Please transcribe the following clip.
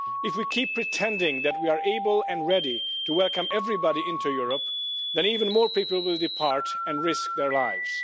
If we keep pretending that we are able and ready to welcome everybody into Europe, then even more people will depart and risk their lives.